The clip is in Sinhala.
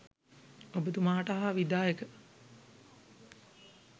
ඔබතුමාට හා විධායක